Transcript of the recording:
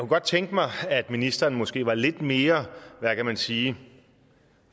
godt tænke mig at ministeren måske var lidt mere hvad kan man sige